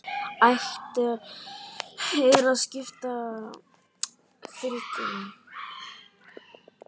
Hægt er að skipta fylkinu